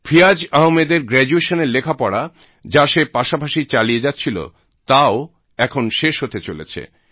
ফিয়াজ আহমেদের গ্র্যাজুয়েশনের লেখাপড়া যা সে পাশাপাশি চালিয়ে যাচ্ছিল তাও এখন শেষ হতে চলেছে